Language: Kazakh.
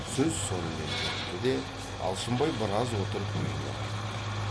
сөз сонымен бітті де алшынбай біраз отырып үйіне қайтты